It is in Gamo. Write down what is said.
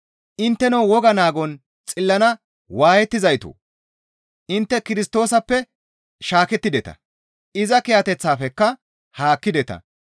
Intteno Woga naagon xillana waayettizaytoo! Intte Kirstoosappe shaakettideta; iza kiyateththafekka haakkideta.